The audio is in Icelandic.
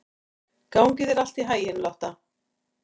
Gangi þér allt í haginn, Lotta.